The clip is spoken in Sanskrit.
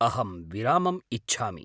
अहं विरामम् इच्छामि।